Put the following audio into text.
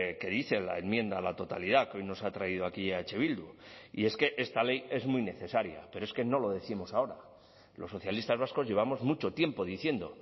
que dice la enmienda a la totalidad que hoy nos ha traído aquí eh bildu y es que esta ley es muy necesaria pero es que no lo décimos ahora los socialistas vascos llevamos mucho tiempo diciendo